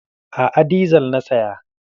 A'a, dizal na saya.